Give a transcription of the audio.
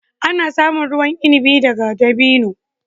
Ana samun ruwan inabi daga dabino.